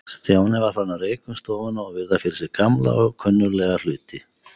Stjáni var farinn að reika um stofuna og virða fyrir sér gamla og kunnuglega hluti.